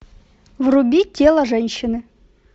вруби тело женщины